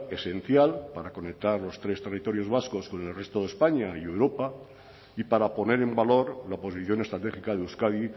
esencial para conectar los tres territorios vascos con el resto de españa y europa y para poner en valor la posición estratégica de euskadi